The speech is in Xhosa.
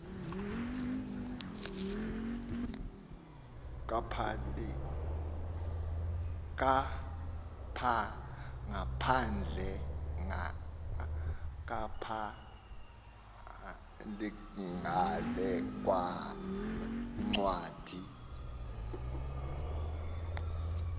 kapahl ngale ncwadi